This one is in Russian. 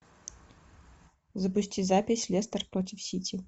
запусти запись лестер против сити